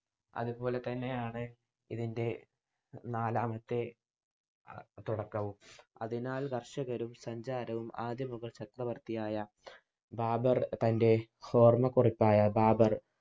അതുപോലതന്നെ ആണ് ഇതിൻ്റെ നാലാമത്തെ തുടക്കവും. അതിനാൽ കർഷകരും സഞ്ചാരവും ആദി മുഗൾ ചക്രവർത്തിയായ ബാബർ തൻ്റെ ഓർമ കുറിപ്പായ ബാബർ